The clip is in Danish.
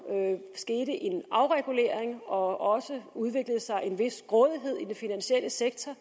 skete en afregulering og også udviklede sig en vis grådighed i den finansielle sektor